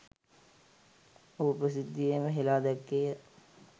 ඔහු ප්‍රසිද්ධියේම හෙළා දැක්කේය.